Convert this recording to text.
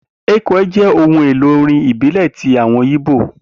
Ekwe jẹ́ ohun èlò orin ìbílẹ̀ ti àwọn ìbó